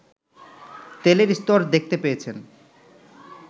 তেলের স্তর দেখতে পেয়েছেন